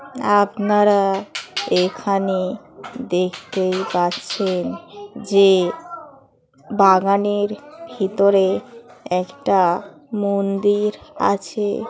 আপনারা এখানে দেখতেই পাচ্ছেন যে বাগানের ভিতরে একটা মন্দির আছে ।